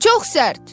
Çox sərt.